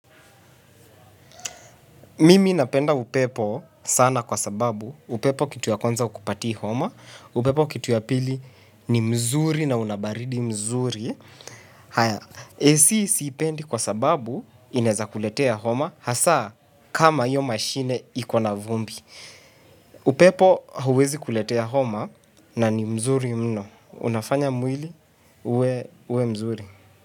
Mimi napenda upepo sana kwa sababu upepo kitu ya kwanza ukupati homa, upepo kitu ya pili ni mzuri na una baridi nzuri. Haya, ac sipendi kwa sababu inaeza kuletea homa hasa kama hiyo mashine ikona vumbi. Upepo huwezi kuletea homa na ni mzuri mno. Unafanya mwili uwe mzuri.